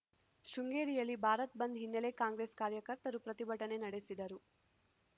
ಶೃಂಗೇರಿಯಲ್ಲಿ ಭಾರತ್‌ ಬಂದ್‌ ಹಿನ್ನೆಲೆ ಕಾಂಗ್ರೆಸ್‌ ಕಾರ್ಯಕರ್ತರು ಪ್ರತಿಭಟನೆ ನಡೆಸಿದರು